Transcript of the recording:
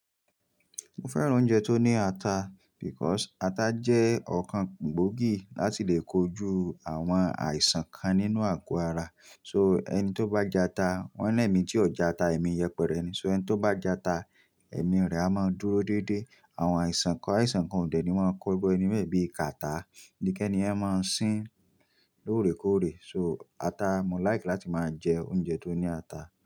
Mo fẹ́ràn oúnjẹ tó ní ata because ata jẹ́ ọ̀kan gbòógì láti lè kojú àwọn àìsàn kan nínú àgọ́ ara. So ẹni tó bá jẹ ata, wọ́n lẹ́mi tí ò jẹ ata, èmi yẹpẹrẹ ni. So ẹni tó bá jẹ ata, ẹ̀mí rẹ̀ a máa dúró dédé. Àwọn àìsàn kan, àìsàn kan òde ni mọ́ ń kọ́gbọ́ ẹni bẹ́ẹ̀ bí càtarrh, bí kẹ́ẹ́ ni yẹn máa sín lóòrèkóòrè. So ata, mo like láti máa jẹ oúnjẹ tó ní ata.